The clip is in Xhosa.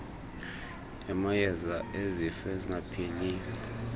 yamayeza ezifo ezingapheliyo